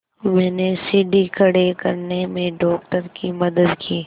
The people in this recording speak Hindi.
मैंने सीढ़ी खड़े करने में डॉक्टर की मदद की